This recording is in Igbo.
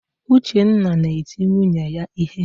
Uchenna na-eti nwunye ya ihe.